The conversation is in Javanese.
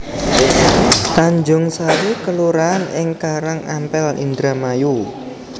Tanjungsari kelurahan ing Karangampel Indramayu